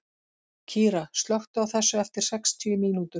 Kíra, slökktu á þessu eftir sextíu mínútur.